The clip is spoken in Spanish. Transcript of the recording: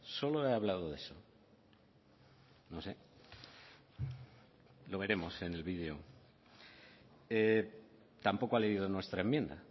solo he hablado de eso no sé lo veremos en el vídeo tampoco ha leído nuestra enmienda